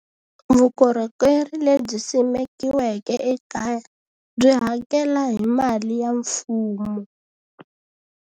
Vukorhokeri lebyi simekiweke ekaya, byi hakela hi mali ya mfumo.